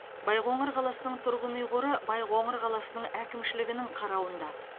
байқоңыр қаласының тұрғын үй қоры байқоңыр қаласының әкімшілігінің қарауында